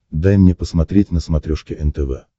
дай мне посмотреть на смотрешке нтв